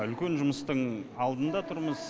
үлкен жұмыстың алдында тұрмыз